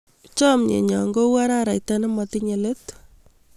Chamyenyo ko u araraita ne matinye let